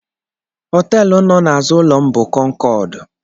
Họteelụ nọ na-azụ ụlọ m bụ Kọnkọọd.